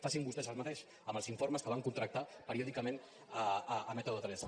facin vostès el mateix amb els informes que van contractar periòdicament a método tres